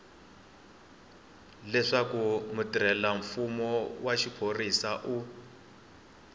leswaku mutirhelamfumo wa xiphorisa u